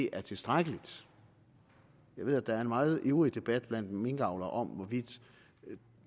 er tilstrækkelige jeg ved at der er en meget ivrig debat blandt minkavlere om hvorvidt